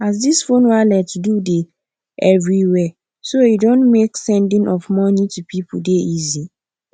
as dis phone wallet do dey everywhere so e don make sending of money to people dey easy